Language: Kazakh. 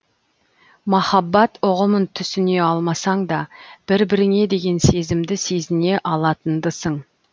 махаббат ұғымын түсіне алмасаңда бір біріңе деген сезімді сезіне алатындысың